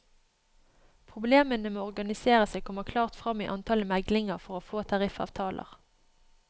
Problemene med å organisere seg kommer klart frem i antallet meglinger for å få tariffavtaler.